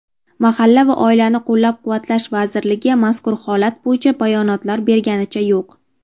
Mahalla va oilani qo‘llab-quvvatlash vazirligi mazkur holat bo‘yicha bayonotlar berganicha yo‘q.